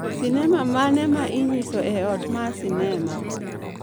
sinema mane ma inyiso e ot ma sinema